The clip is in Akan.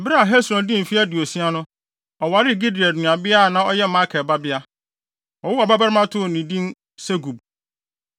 Bere a Hesron dii mfe aduosia no, ɔwaree Gilead nuabea a na ɔyɛ Makir babea. Wɔwoo ɔbabarima too no din Segub.